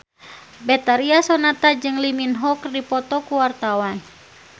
Betharia Sonata jeung Lee Min Ho keur dipoto ku wartawan